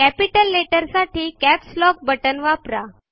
capital letter साठी caps lock button वापरा